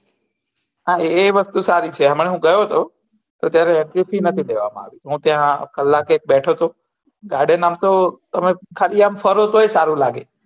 હા એ વસ્તુ સારી છે એમના હું ગયો હતો તો ત્યારે એન્ર્ય ફી નથી લેવા માં આયી હતી હું ત્યાં કલાક એક બેઠો હતો ગાર્ડન આમતો તમે ખાલી આમ ફરો તોય સારું લાગે